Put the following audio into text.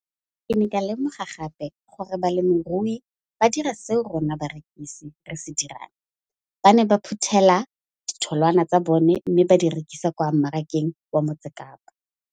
Ke ne ka lemoga gape gore balemirui ba dira seo rona barekisi re se dirang, ba ne ba phuthela ditholwana tsa bona mme ba di rekisa kwa marakeng wa Motsekapa.